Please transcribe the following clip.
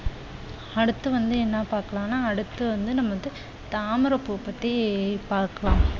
அடுத்து வந்து என்ன பாக்கலாம்னா அடுத்து வந்து நம்ம வந்து தாமரை பூ பத்தி பார்க்கலாம்.